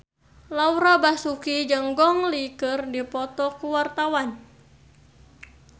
Laura Basuki jeung Gong Li keur dipoto ku wartawan